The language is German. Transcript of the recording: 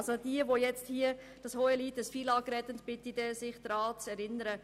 Ich bitte diejenigen, die jetzt das Hohelied auf das FILAG singen, sich dann daran zu erinnern.